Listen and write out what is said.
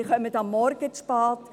Sie kommen am Morgen zu spät.